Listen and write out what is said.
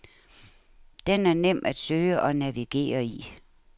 Den er nem at søge og navigere i.